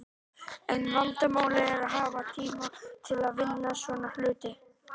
En vandamálið er að hafa tíma til að vinna svona hluti.